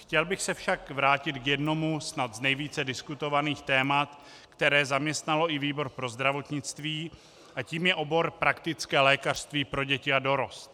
Chtěl bych se však vrátit k jednomu snad z nejvíce diskutovaných témat, které zaměstnalo i výbor pro zdravotnictví, a tím je obor praktické lékařství pro děti a dorost.